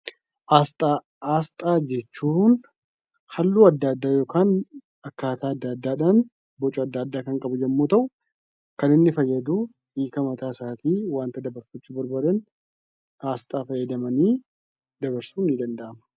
Aasxaa jechuun halluu addaa yookiin boca addaa addaa kan qabu yoo ta'u; kan inni fayyadu hiika mataa isaatii wanta dabarfachuu barbaadan aasxaa fayyadamanii dabarsuun ni danda'ama.